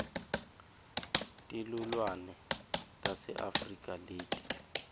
tilnuane tase afrika leti